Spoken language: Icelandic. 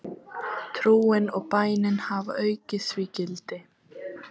Trúin og bænin hafa aukið því gildi.